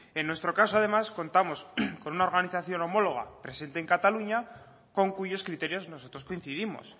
en nuestro caso además contamos con una organización homóloga presente en cataluña con cuyos criterios nosotros coincidimos